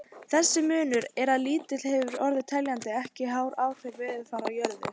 Þessi munur er það lítill að hann hefur ekki teljandi áhrif á veðurfar á jörðu.